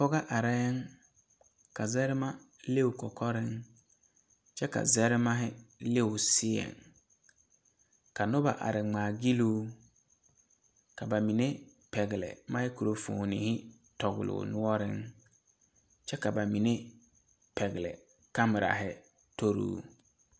pɔgɔ areŋ, ka zarema leŋ o kɔkɔreŋ kyɛ ka zarema leŋ o seɛŋ ka noba are ŋmaa gyile o, ka ba mine pɛgele microphone tɔgeli o noɔreŋ kyɛ ka ba.mine pɛgele komera a tori o.